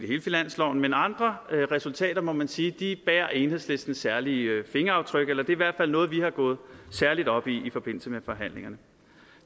hele finansloven men andre resultater må man sige bærer enhedslistens særlige fingeraftryk eller det er i hvert fald noget vi er gået særlig op i i forbindelse med forhandlingerne